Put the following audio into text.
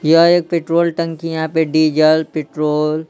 यह एक पेट्रोल टंकी यहां पे डीजल पेट्रोल --